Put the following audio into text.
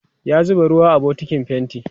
ya zuba ruwa a bukitin fainti